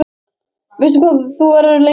Veistu hvað þú verður lengi að því?